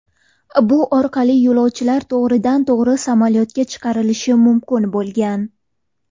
Bu orqali yo‘lovchilar to‘g‘ridan to‘g‘ri samolyotga chiqishlari mumkin bo‘lgan.